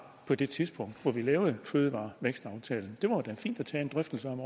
på det tidspunkt hvor vi lavede vækstplan fødevarer det var da fint at tage en drøftelse om